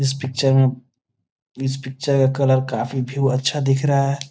इस पिक्चर में इस पिक्चर का कलर काफी व्यू अच्छा दिख रहा है।